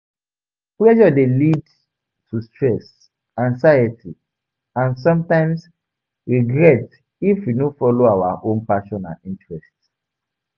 Pressure dey lead to stress, anxiety and sometimes, regret if we no follow our own passions and interests.